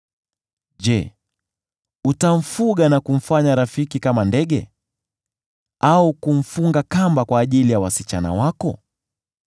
Je, utamfuga na kumfanya rafiki kama ndege, au kumfunga kamba kwa ajili ya wasichana wako?